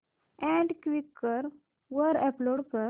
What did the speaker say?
add Quikr वर upload कर